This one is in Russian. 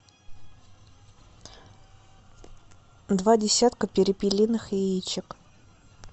два десятка перепелиных яичек